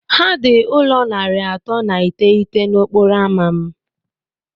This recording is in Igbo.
Ha dị ụlọ narị atọ na iteghete na okporo ámá m